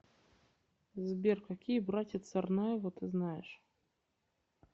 сбер какие братья царнаевы ты знаешь